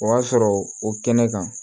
O y'a sɔrɔ o kɛnɛ kan